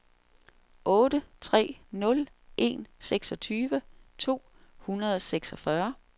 otte tre nul en seksogtyve to hundrede og seksogfyrre